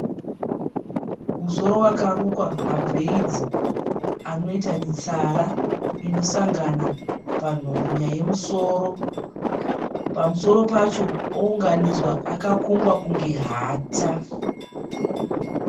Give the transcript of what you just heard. Musoro wakarukwa mabhureidzi anoita mitsara inosangana panhongonya yemusoro. Pamusoro pacho ounganidzwa akakongwa kunge hata.